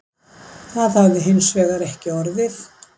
Það hafi hins vegar ekki orðið